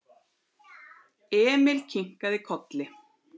Emil kinkaði kolli.